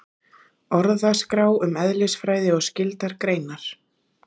Orðaskrá um eðlisfræði og skyldar greinar.